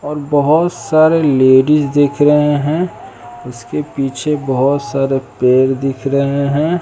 और बहुत सारे लेडिस दिख रहे हैं उसके पीछे बहुत सारे पेड़ दिख रहे हैं।